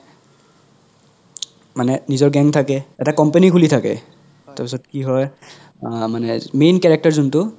মানে নিজৰ gang থাকে এটা company খুলি থাকে তাৰ পিছত কি হয় অহ মানে main character যোন্তু